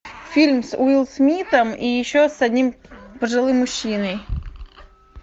фильм с уилл смитом и еще с одним пожилым мужчиной